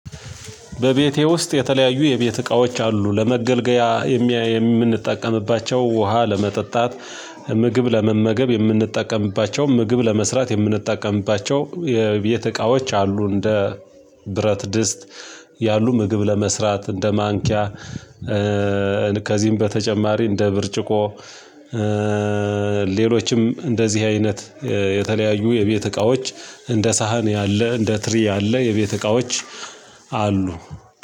በቤቴ ውስጥ የተለያዩ የቤት እቃዎች አሉ። ለመገልገያ የምንጠቀምባቸው ውሃ ለመጠጣት፣ ምግብ ለመመገብ፣ የምንጠቀምባቸው ምግብ ለመስራት፣ የምንጠቀምባቸው የቤት እቃዎች አሉ እንደ ብረት ድስት ያሉ ምግብ ለመስራት እንደ ማንኪያ በተጨማሪ እንደ ብርጭቆ ሌሎችም እንደዚህ አይነት የተለያዩ የቤት እቃዎች እንደ ሳህን ያለ፣ እንደ ትሪ ያለ፣ የቤት እቃዎች አሉ።